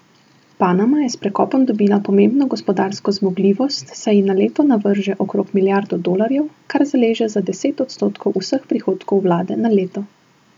Panama je s prekopom dobila pomembno gospodarsko zmogljivost, saj ji na leto navrže okrog milijardo dolarjev, kar zaleže za deset odstotkov vseh prihodkov vlade na leto.